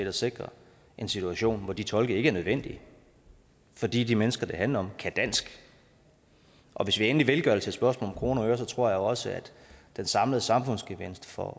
at sikre en situation hvor de tolke ikke er nødvendige fordi de mennesker det handler om kan dansk og hvis vi endelig vil gøre det til et spørgsmål om kroner og øre tror jeg også at den samlede samfundsgevinst for